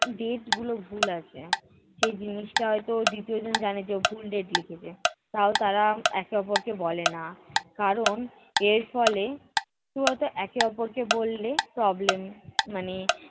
date গুলো ভুল আছে, সে জিনিসটা হয়ত দ্বিতীয়জন জানে যে ও ভুল date লিখেছে। তাও তারা একে অপরকে বলে না কারণ এর ফলে কী বলো তো একে অপরকে বললে problem মানে